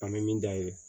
An bɛ min dayɛlɛ